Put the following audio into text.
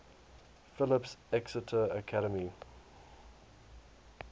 phillips exeter academy